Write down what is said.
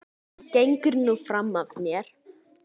Gengur nú fram af mér!